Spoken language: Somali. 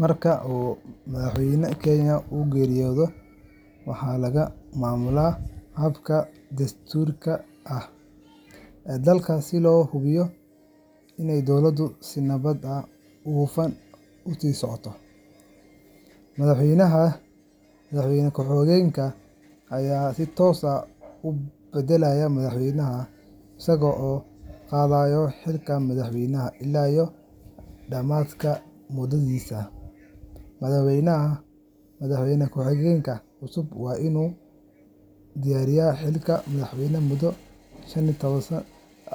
Marka madaxweynaha Kenya uu geeriyoodo, waxaa lagu maamulaa habka dastuuriga ah ee dalka si loo hubiyo in dowladdu si nabad ah oo hufan u sii socoto. Madaxweynaha ku-xigeenka ayaa si toos ah u bedela madaxweynaha, isaga oo qaadaya xilka madaxweynaha ilaa dhammaadka mudadiisa. Madaxweynaha ku-xigeenka cusub waa inuu dhaariyaa xilka madaxweynaha muddo